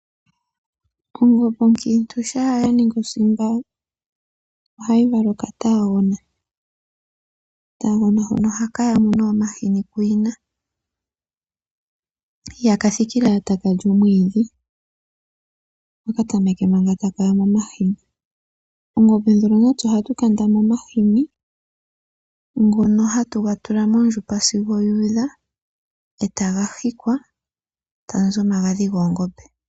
Ongombe onkiintu shampa ya ningi osimba ohayi vala okataagona. Okataagona hono ohaka yamu nee omahini kuyina. Ihaka thikile owala taka lin omwiidhi ota ka tameke manga taka yamu omahini. Mongombe mono natse ohatu kanda mo omahini ngono hatu ga tula mondjupa sigo yu udha taga hikwa eta muzi omagadhi goongombe.